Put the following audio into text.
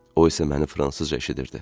O isə məni fransızca eşidirdi.